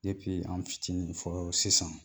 an' fitini fɔɔ sisan.